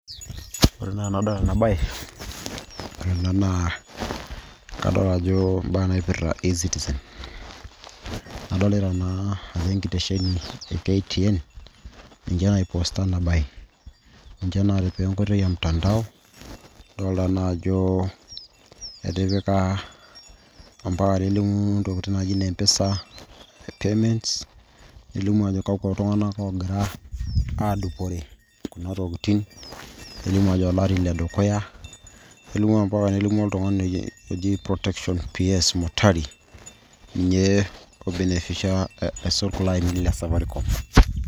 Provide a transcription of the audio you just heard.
Ore naa enadol enabae, ore ena naa kadol ajo imbaa naipirta e-citizen. Adolita naa ajo enkitesheni e KTN,ninche naiposta enabae. Ninche natipika enkoitoi emtandao, dolta naa ajo etipika ampaka nelimu intokiting' naji ne M-PESA payments ,nelimu ajo kakwa tung'anak ogira adupore kuna tokiting'. Nelimu ajo olari ledukuya. Nelimu mpaka nelimu oltung'ani oji protection ps Motari. Ninye oibenefisha aisul kulo ainini le safaricom.